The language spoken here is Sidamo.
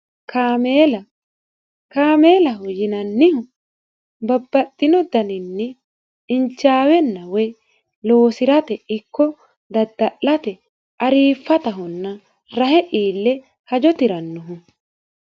kaameela kaameelaho yinanniha babbaxino daninni injaawenna woy loosirate ikko dadda'late aariffattahonnanna hahe iillannoho